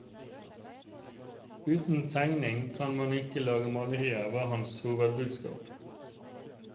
Uten tegning kan man ikke lage malerier, var hans hovedbudskap.